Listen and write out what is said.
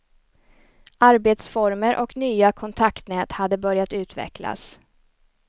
Arbetsformer och nya kontaktnät hade börjat utvecklas.